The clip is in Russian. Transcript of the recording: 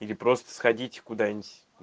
или просто сходить куда-нибудь